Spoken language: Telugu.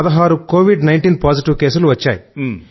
16 కోవిడ్19 పాజిటివ్ కేసులు వచ్చాయి